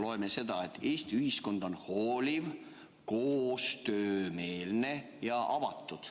Loeme seda, et Eesti ühiskond on hooliv, koostöömeelne ja avatud.